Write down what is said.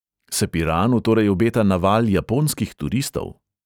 Se piranu torej obeta naval japonskih turistov?